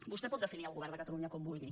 vostè pot definir el govern de catalunya com vulgui